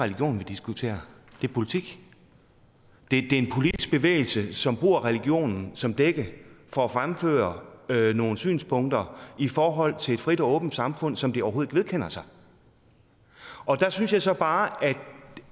religion vi diskuterer det er politik det er en politisk bevægelse som bruger religionen som dække for at fremføre nogle synspunkter i forhold til et frit og åbent samfund som de overhovedet ikke vedkender sig der synes jeg så bare at